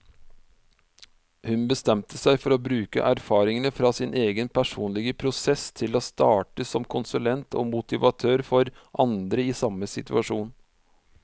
Hun bestemte seg for å bruke erfaringene fra sin egen personlige prosess til å starte som konsulent og motivator for andre i samme situasjon.